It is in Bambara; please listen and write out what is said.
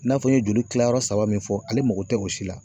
N'a fɔ n ye joli kila yɔrɔ saba min fɔ, ale mako te o si la.